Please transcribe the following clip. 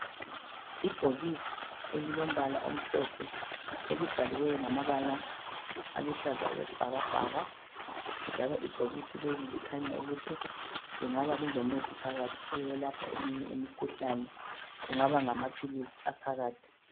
Ibhokisi elilombala omhlophe elibhaliweyo ngamabala aluhlaza okwesibhakabhaka njalo ibhokisi leli likhanya ukuthi lingaba lilomuthi phakathi oyelapha eminye imikhuhlane. Kungaba ngamaphilisi aphakathi.